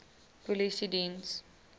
polisiediens